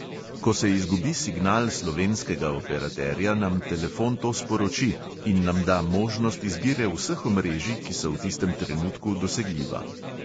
Ko se izgubi signal slovenskega operaterja, nam telefon to sporoči in nam da možnost izbire vseh omrežij, ki so v tistem trenutku dosegljiva.